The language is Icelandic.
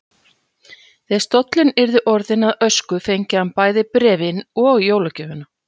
Þegar stóllinn yrði orðinn að ösku fengi hann bæði bréfin og jólagjöfina.